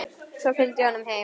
Svo fylgdi ég honum heim.